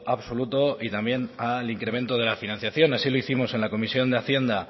absoluto y también al incremento de la financiación así lo hicimos en la comisión de hacienda